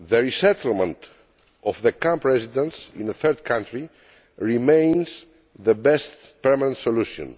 Resettlement of the camp residents in a third county remains the best permanent solution.